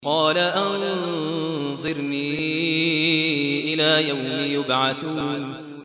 قَالَ أَنظِرْنِي إِلَىٰ يَوْمِ يُبْعَثُونَ